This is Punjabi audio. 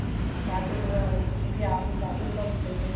ਚਾਹ ਚੁਹ ਬਣਾਣੀ ਅਸੀਂ ਆਪ ਹੀ ਚਾਹ ਚੂਹ ਬਣਾਦੇ ਤੇ